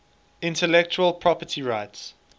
intellectual property rights